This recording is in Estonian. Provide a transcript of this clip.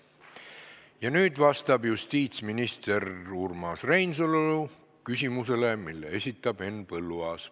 Ja nüüd vastab justiitsminister Urmas Reinsalu küsimusele, mille esitab Henn Põlluaas.